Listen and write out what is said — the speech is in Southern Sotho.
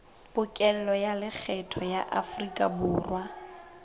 pokello ya lekgetho ya aforikaborwa